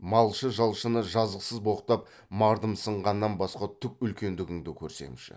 малшы жалшыны жазықсыз боқтап мардымсығаннан басқа түк үлкендігіңді көрсемші